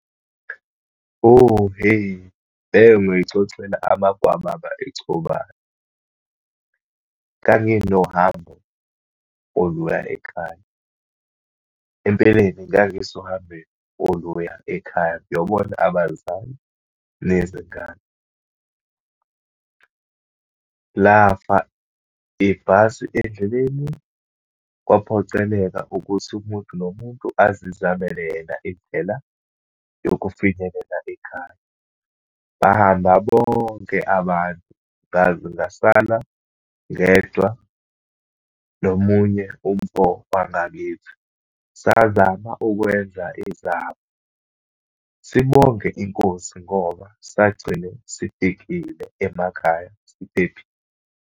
Oh hhe, leyo ungayixoxela amagwababa echobana. Nganginohambo oluya ekhaya. Empeleni ngangisohambeni oluya ekhaya ngiyobona abazali, nezingane. Lafa ibhasi endleleni, kwaphoceleka ukuthi umuntu nomuntu azizamele yena indlela yokufinyelela ekhaya. Bahamba bonke abantu, ngaze ngasala ngedwa nomunye umfo wangakithi. Sazama ukwenza izaba, sibonge iNkosi ngoba sagcine sifikile emakhaya siphephile.